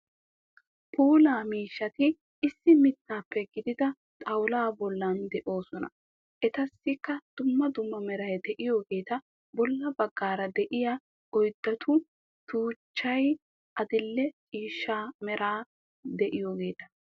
Puula miishshati issi mittaappe giiggida xawulaa bolla de'oosona. Etassikka dumma dumma meray de'iyogeeta bolla baggaara de'iya oydatu tuchchchay adil"e ciishshaa mera de'iyogeeta.